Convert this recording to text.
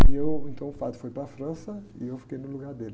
E eu, então, o padre foi para a França e eu fiquei no lugar dele.